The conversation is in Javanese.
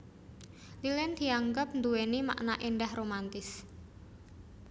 Lilin dianggep nduwéni makna éndah romantis